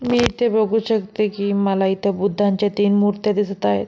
मी इथे बघू शकते की मला इथे बुद्धाच्या तीन मूर्त्या दिसत आहेत.